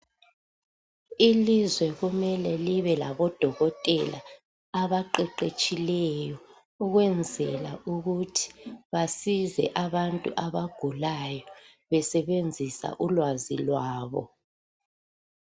Ilizwe kumele libe labodokotela abaqeqetshileyo ukwenzela ukuthi basize abantu abagulayo besebenzisa ulwazi lwabo.